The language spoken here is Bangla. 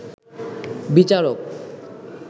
বিচারক